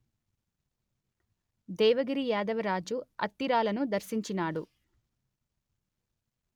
దేవగిరి యాదవరాజు అత్తిరాలను దర్శించినాడు